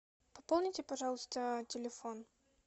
пополните пожалуйста телефон